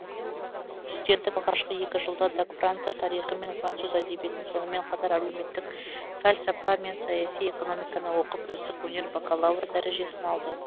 студенттік алғашқы екі жылда даг франция тарихы мен француз әдебиетін сонымен қатар әлеуметтік фәлсапа мен саяси экономиканы оқып үздік өнер бакалавры дәрежесін алды